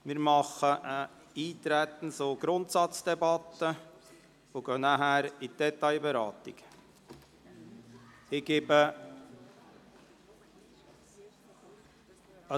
Wir führen eine Eintretens- und Grundsatzdebatte und gehen danach zur Detailberatung über.